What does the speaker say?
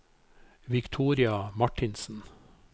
Victoria Martinsen